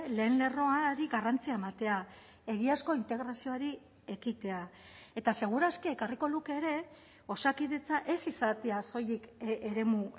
lehen lerroari garrantzia ematea egiazko integrazioari ekitea eta seguraski ekarriko luke ere osakidetza ez izatea soilik eremu